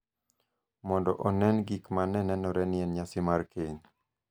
mondo onen gik ma ne nenore ni en nyasi mar keny.